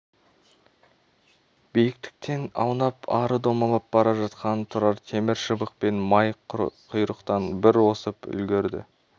биіктен аунап ары домалап бара жатқанын тұрар темір шыбықпен май құйрықтан бір осып үлгірді